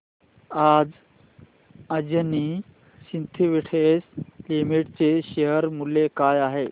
आज Anjani Synthetics Limited चे share मूल्य काय आहे